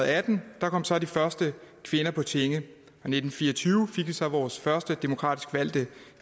atten kom så de første kvinder på tinge i nitten fire og tyve fik vi så vores første demokratisk valgte